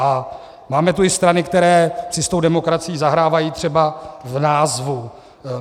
A máme tu i strany, které si s tou demokracií zahrávají třeba v názvu.